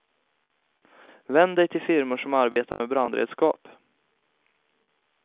Vänd dig till firmor som arbetar med brandredskap.